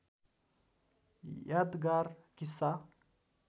यादगार किस्सा